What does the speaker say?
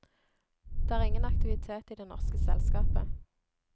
Det er ingen aktivitet i det norske selskapet.